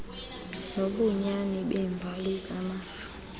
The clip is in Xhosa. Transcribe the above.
nobunyani beembali zamafa